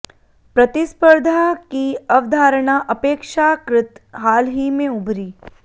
प्रतिस्पर्धा की अवधारणा अपेक्षाकृत हाल ही में उभरी